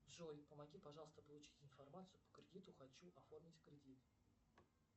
джой помоги пожалуйста получить информацию по кредиту хочу оформить кредит